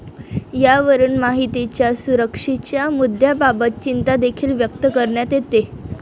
यावरून माहितीच्या सुरक्षेच्या मुद्याबाबत चिंतादेखील व्यक्त करण्यात येते.